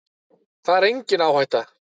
Það er engin áhætta.